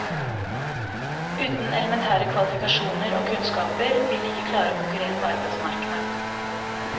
Uten elementære kvalifikasjoner og kunnskaper vil de ikke klare å konkurrere på arbeidsmarkedet.